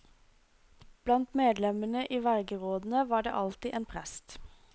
Blant medlemmene i vergerådene var det alltid en prest.